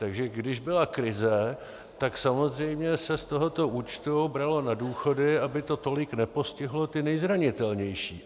Takže když byla krize, tak samozřejmě se z tohoto účtu bralo na důchody, aby to tolik nepostihlo ty nejzranitelnější.